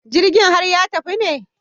Jirgin har ya tafi ne?